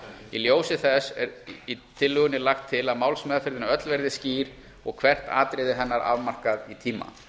í ljósi þess er í tillögunni lagt til að málsmeðferðin öll verði skýr og hvert atriði hennar afmarkað í tíma